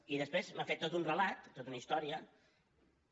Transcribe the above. i després m’ha fet tot un relat tota una història que